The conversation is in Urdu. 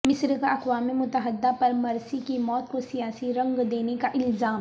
مصر کا اقوام متحدہ پر مرسی کی موت کو سیاسی رنگ دینے کا الزام